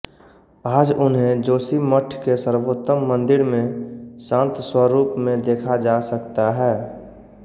आज उन्हें जोशीमठ के सर्वोत्तम मंदिर में शांत स्वरूप में देखा जा सकता है